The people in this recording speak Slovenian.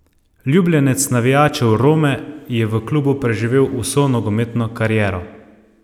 Ljubljenec navijačev Rome je v klubu preživel vso nogometno kariero.